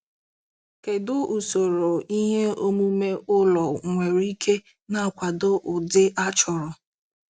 Kedu usoro ihe omume ụlọ nwere ike na-akwado ụdị a chọrọ?